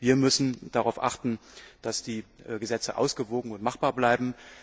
Wir müssen darauf achten, dass die Gesetze ausgewogen und machbar bleiben.